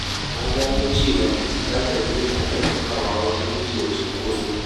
Na gano cewa fita da wuri yana taimakawa wajen guje wa cunkoso.